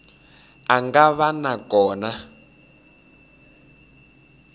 a nga va na kona